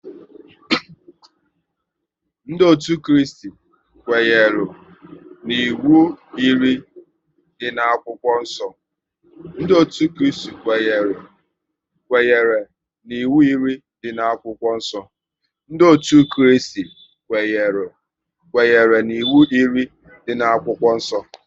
Ndị otu Kristi kwenyere n'iwu iri dị n'akwụkwọ nsọ